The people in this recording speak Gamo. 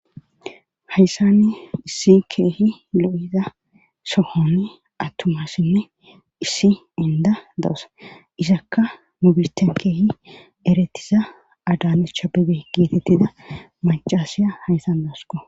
hayssanne issi keehi lo7iza sohonni attuma asinne issi inda do7os isakka mubiten keehi eretiza adanacha bebe geetettida macasiya hayssan dawusko